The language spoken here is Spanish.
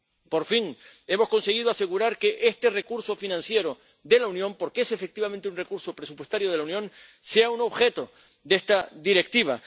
Por fin hemos conseguido asegurar que este recurso financiero de la Unión —porque es efectivamente un recurso presupuestario de la Unión— sea objeto de esta Directiva.